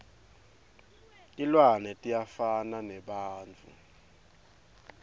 tilwane tiyafana nebantfu